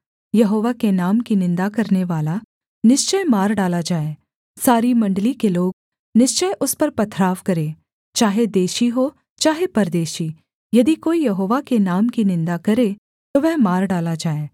यहोवा के नाम की निन्दा करनेवाला निश्चय मार डाला जाए सारी मण्डली के लोग निश्चय उस पर पथराव करें चाहे देशी हो चाहे परदेशी यदि कोई यहोवा के नाम की निन्दा करें तो वह मार डाला जाए